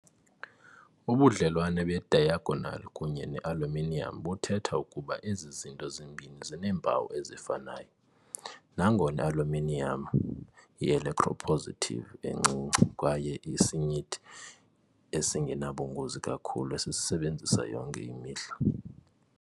Ubudlelwane be-diagonal kunye ne -aluminiyam buthetha ukuba ezi zinto zimbini zineempawu ezifanayo, nangona i-aluminiyam i-electropositive encinci kwaye isinyithi esingenabungozi kakhulu esisisebenzisa yonke imihla.